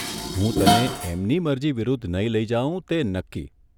હું તને એમની મરજી વિરુદ્ધ નહીં લઇ જાઉં તે નક્કી !